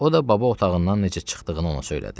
O da baba otağından necə çıxdığını ona söylədi.